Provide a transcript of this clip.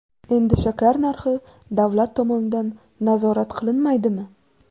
Endi shakar narxi davlat tomonidan nazorat qilinmaydimi?.